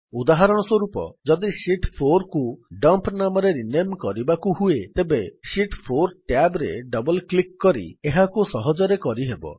ଉଦାହରଣସ୍ୱରୂପ ଯଦି ଶୀତ୍ 4 କୁ ଡମ୍ପ ନାମରେ ରିନେମ୍ କରିବାକୁ ହୁଏ ତେବେ ଶୀତ୍ 4 ଟ୍ୟାବ୍ ରେ ଡବଲ୍ କ୍ଲିକ୍ କରି ଏହାକୁ ସହଜରେ କରିହେବ